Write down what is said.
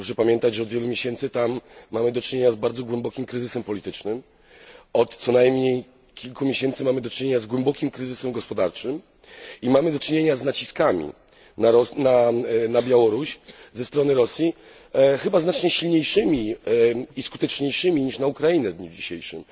Proszę pamiętać, że od wielu miesięcy mamy tam do czynienia z bardzo głębokim kryzysem politycznym, od co najmniej kilku miesięcy mamy do czynienia z głębokim kryzysem gospodarczym, i mamy do czynienia z naciskami na Białoruś ze strony Rosji, chyba znacznie silniejszymi i skuteczniejszymi niż naciski na Ukrainę w dniu dzisiejszym.